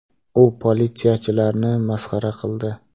U politsiyachilarni masxara qildi.